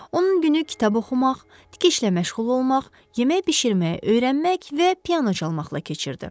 Onun günü kitab oxumaq, tikişlə məşğul olmaq, yemək bişirməyə öyrənmək və piano çalmaqla keçirdi.